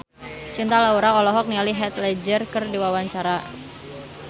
Cinta Laura olohok ningali Heath Ledger keur diwawancara